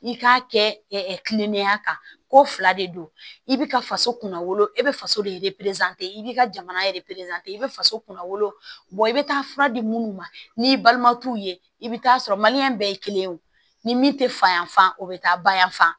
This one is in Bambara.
I k'a kɛ kilennenya kan ko fila de don i bɛ ka faso kunna wolo e bɛ faso de i b'i ka jamana i bɛ faso kunna wolo i bɛ taa fura di munnu ma n'i balima t'u ye i bɛ taa sɔrɔ bɛɛ ye kelen ye o ni min tɛ fa yanfan o bɛ taa ba yanfan